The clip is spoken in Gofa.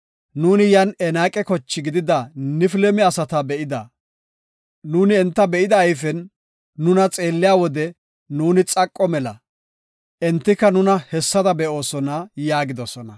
Nuuni yan Enaaqa koche gidida Nifilime asata be7ida. Enta be7ida ayfen nuna xeelliya wode nuuni xaqo mela; entika nuna hessada be7oosona” yaagidosona.